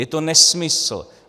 Je to nesmysl.